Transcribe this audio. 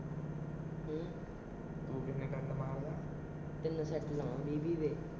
ਹੂੰ। ਤਿੰਨ ਸੈਟ ਮਾਰਦੇ ਆ ਵੀਹ-ਵੀਹ ਦੇ।